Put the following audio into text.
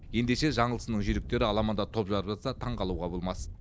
ендеше жаңылсынның жүйріктері аламанда топ жарып жатса таңғалуға болмас